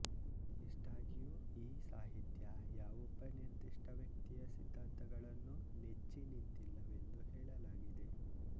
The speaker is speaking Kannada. ಇಷ್ಟಾಗಿಯೂ ಈ ಸಾಹಿತ್ಯ ಯಾವೊಬ್ಬ ನಿರ್ದಿಷ್ಟ ವ್ಯಕ್ತಿಯ ಸಿದ್ಧಾಂತಗಳನ್ನು ನೆಚ್ಚಿ ನಿಂತಿಲ್ಲವೆಂದು ಹೇಳಲಾಗಿದೆ